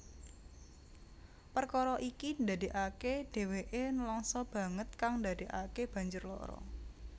Perkara iki ndadekake dheweke nelangsa banget kang ndadekake banjur lara